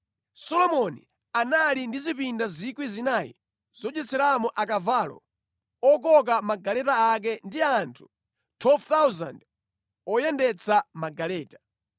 Solomoni anali ndi zipinda 4,000 zodyeramo akavalo okoka magaleta ake ndi anthu 12,000 oyendetsa magaleta.